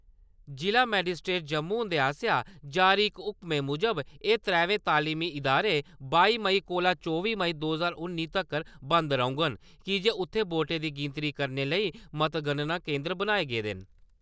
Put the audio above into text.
जि'ला मेजिस्ट्रेट जम्मू हुंदे आसेआ जारी इक हुक्मै मूजब एह् त्रवै तालीमी इदारे बाई मेई कोला चौबी मई दो ज्हार उन्नी तक्कर बंद रौह्ङन की जे उत्थैं वोटें दी गिनतरी करने लेई मतगणना केन्द्र बनाए गेदे न।